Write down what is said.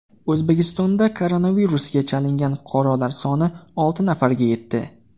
O‘zbekistonda koronavirusga chalingan fuqarolar soni olti nafarga yetdi.